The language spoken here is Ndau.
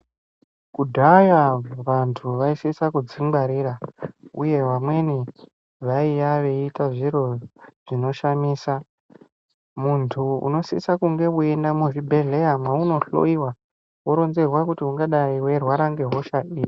Kudhaya vantu vaisisa kudzingwarira uye vamweni vaiya veiita zviro zvinoshamisa. Muntu unosisa kunge veienda muzvibhedhleya mweunohloiwa vorinzerwa kuti ungadai veirwara ngehosha ipi.